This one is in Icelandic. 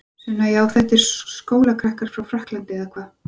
Sunna: Já þetta eru skólakrakkar frá Frakklandi eða hvað?